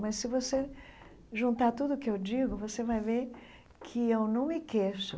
Mas se você juntar tudo o que eu digo, você vai ver que eu não me queixo.